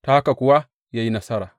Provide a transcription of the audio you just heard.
Ta haka kuwa ya yi nasara.